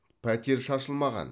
пәтер шашылмаған